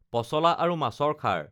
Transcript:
পচলা আৰু মাছৰ খাৰ